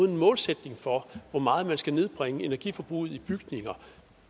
en målsætning for hvor meget man skal nedbringe energiforbruget i bygninger